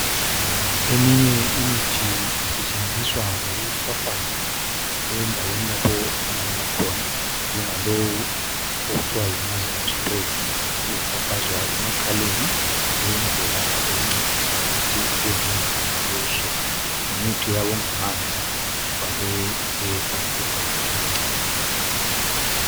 Eminye imithi isetshenziswa ngokufafaza endaweni lapho ofunakala khona. Njengalowu okuthiwa yinazali yokufafaza ufafazwa emakhaleni ukwenzela ukwehlisa ukuvimbana. Ngumuthi oyabe ungamanzi ufakwe embodleleni encane.